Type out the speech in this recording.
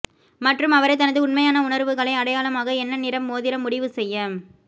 மற்றும் அவரை தனது உண்மையான உணர்வுகளை அடையாளமாக என்ன நிறம் மோதிரம் முடிவு செய்ய